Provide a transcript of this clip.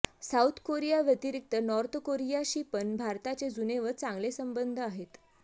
south Korea व्यतिरिक्त North कोरियाशी पण भारताचे जुने व चांगले संबंध आहेत